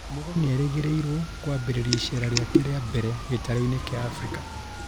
Mugo nĩerĩgĩrĩirwo kwambirĩria icera rĩake ria mbere gĩtarũ-inĩ kia Afrika